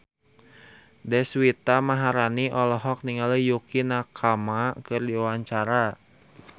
Deswita Maharani olohok ningali Yukie Nakama keur diwawancara